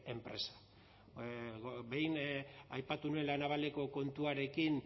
enpresa behin aipatu nuen la navaleko kontuarekin